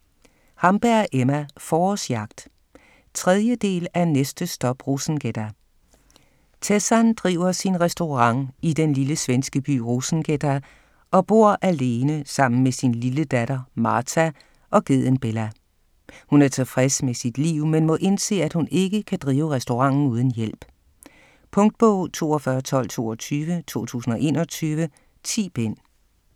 Hamberg, Emma: Forårsjagt 3. del af Næste stop Rosengädda!. Tessan driver sin restaurant i den lille svenske by Rosengädda og bor alene sammen med sin lille datter Marta og geden Bella. Hun er tilfreds med sit liv, men må indse at hun ikke kan drive restauranten uden hjælp. Punktbog 421222 2021. 10 bind.